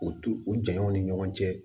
U t'u u janɲɛnw ni ɲɔgɔn cɛ